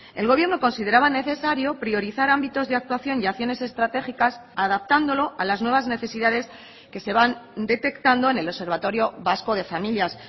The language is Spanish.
el gobierno consideraba necesario priorizar ámbitos de actuación y acciones estratégicas adaptándolo a las nuevas necesidades que se van detectando en el observatorio vasco de familias